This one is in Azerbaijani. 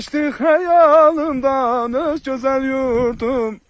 Keçdi xəyalımdan öz gözəl yurdum.